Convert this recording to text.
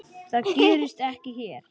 Það gerist ekki hér.